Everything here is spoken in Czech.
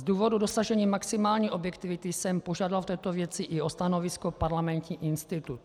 Z důvodu dosažení maximální objektivity jsem požádal v této věci i o stanovisko Parlamentní institut.